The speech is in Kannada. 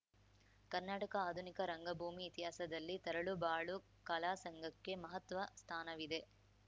ಕರ್ನಾಟಕ ಆಧುನಿಕ ರಂಗಭೂಮಿ ಇತಿಹಾಸದಲ್ಲಿ ತರಳುಬಾಳು ಕಲಾ ಸಂಘಕ್ಕೆ ಮಹತ್ವ ಸ್ಥಾನವಿದೆ